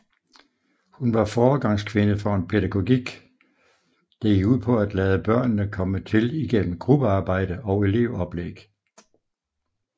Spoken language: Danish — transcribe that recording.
Hun var foregangskvinde for en pædagogik der gik ud på at lave børnene komme til igennem gruppearbejde og elevoplæg